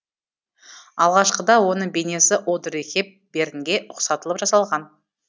алғашқыда оның бейнесі одри хэпбернге ұқсатылып жасалған